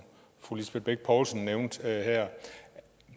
fru lisbeth bech poulsen nævnte her